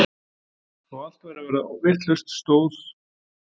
Þó allt væri að verða vitlaust stóð